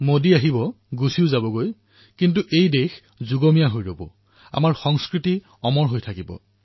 মোদী আহিব আৰু গুচি যাব কিন্তু দেশ অটল হৈ থাকিব আমাৰ সংস্কৃতি অমৰ হৈ থাকিব